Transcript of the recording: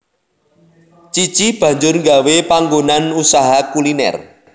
Cici banjur nggawé panggonan usaha kuliner